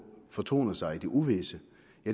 fortoner sig i det uvisse